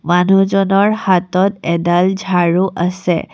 মানুহজনৰ হতত এডাল ঝাড়ু আছে।